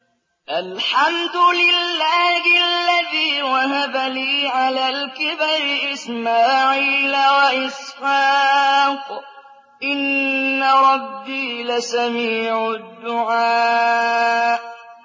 الْحَمْدُ لِلَّهِ الَّذِي وَهَبَ لِي عَلَى الْكِبَرِ إِسْمَاعِيلَ وَإِسْحَاقَ ۚ إِنَّ رَبِّي لَسَمِيعُ الدُّعَاءِ